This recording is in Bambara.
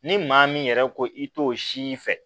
Ni maa min yɛrɛ ko i t'o si fɛ